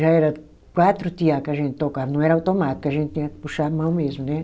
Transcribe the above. Já era quatro tear que a gente tocava, não era automático, a gente tinha que puxar à mão mesmo né.